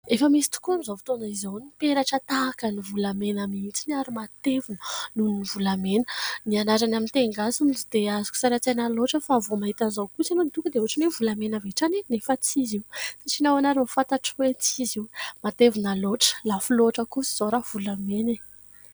Efa misy tokoa amin'izao fotoana izao ny peratra tahaka ny volamena mihitsy ary matevina noho ny volamena. Ny anarany amin'ny teny gasy no tsy dia azoko sary an-tsaina loatra fa vao mahita an'izao kosa ianao dia tonga dia ohatran'ny hoe volamena avy hatrany e ? Nefa tsy izy io. Satria nahoana ary no fantatro hoe tsy izy io ? Matevina loatra, lafo loatra kosa izao raha volamena e !